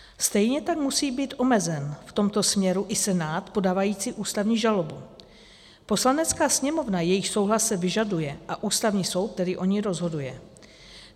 Stejně tak musí být omezen v tomto směru i Senát podávající ústavní žalobu, Poslanecká sněmovna, jejíž souhlas se vyžaduje, a Ústavní soud, který o ní rozhoduje.